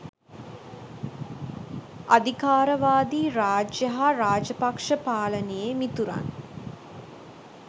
අධිකාරවාදී රාජ්‍ය හා රාජපක්ෂ පාලනයේ මිතුරන්